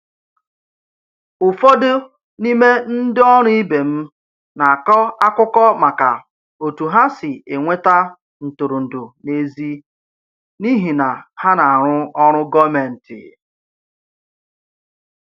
Ụfọdụ n'ime ndị ọrụ ibe m na-akọ akụkọ maka otu ha si enweta ntụrụndụ n’èzí n'ihi na ha na-arụ ọrụ gọọmentị..